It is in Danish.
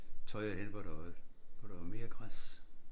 Tøjret henne hvor der var hvor der var mere græs